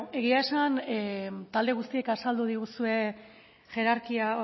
egia esan talde guztiek azaldu diguzue hierarkia